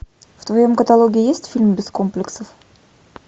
в твоем каталоге есть фильм без комплексов